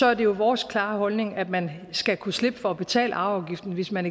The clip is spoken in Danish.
er det jo vores klare holdning at man skal kunne slippe for at betale arveafgift hvis man